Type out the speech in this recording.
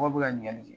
Mɔgɔ bɛ ka ɲinigali kɛ